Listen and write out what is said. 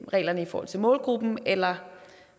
reglerne i forhold til målgruppen eller